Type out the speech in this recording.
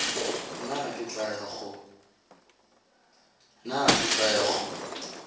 nna ke tla ya go